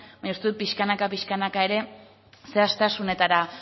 baina uste dut pixkanaka pixkanaka ere zehaztasunetara